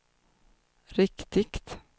riktigt